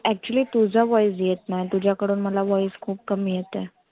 actualy तुझा voice येत नाय. तुझ्याकडून मला voice खुप कमी येत आहे.